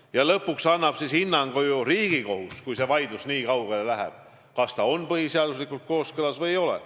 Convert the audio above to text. Ja lõpuks annab hinnangu Riigikohus, kui see vaidlus läheb nii kaugele, kas eelnõu on põhiseadusega kooskõlas või ei ole.